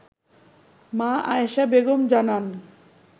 মা আয়েশা বেগম জানান